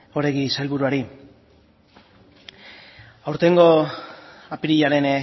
oregi sailburuari aurtengo apirilaren